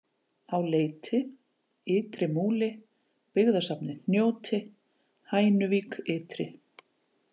Á Leiti, Ytri-Múli, Byggðasafnið Hnjóti, Hænuvík-Ytri